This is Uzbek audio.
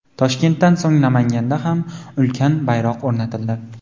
Toshkentdan so‘ng Namanganda ham ulkan bayroq o‘rnatildi.